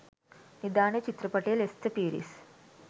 නිධානය චිත්‍රපටයේ ලෙස්ටර් පීරිස්